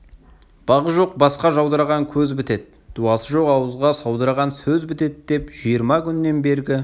бағы жоқ басқа жаудыраған көз бітеді дуасы жоқ ауызға саудыраған сөз бітеді деп жиырма күннен бергі